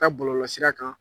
Ka bɔlɔlɔsira kan